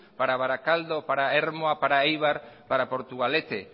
para barakaldo para ermua para eibar para portugalete